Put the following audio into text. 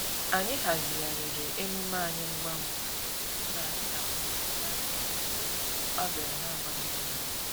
Anyị hazigharịrị emume anyị ngwa ngwa iji hụ n'anyị nakwetere ya n'ihi ọ bịara na-agwaghị anyị agwa